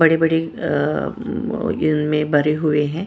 बड़े-बड़े अ अ इनमें भरे हुए हैं।